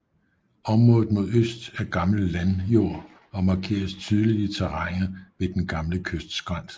Området mod øst er gammel landjord og markeres tydeligt i terrænet ved den gamle kystskrænt